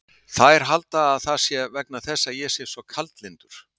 Þær halda að það sé vegna þess að ég sé svo kaldlyndur.